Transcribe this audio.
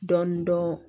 Dɔɔnin dɔɔnin